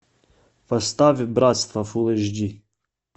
поставь братство фул эйч ди